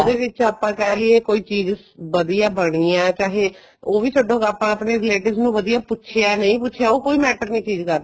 ਦੇ ਵਿੱਚ ਆਪਾਂ ਕਹਿ ਲਈਏ ਕੋਈ ਚੀਜ਼ ਵਧੀਆ ਬਣੀ ਏ ਚਾਹੇ ਉਹ ਵੀ ਛਡੋ ਆਪਾਂ ਆਪਣੇ relatives ਨੂੰ ਵਧੀਆ ਪੁੱਛਿਆ ਨਹੀਂ ਪੁੱਛਿਆ ਉਹ ਕੋਈ matter ਨੀਂ ਚੀਜ਼ ਕਰਦੀ